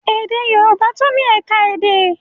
Èdè Yorùbá tún ni ẹ̀ka èdè.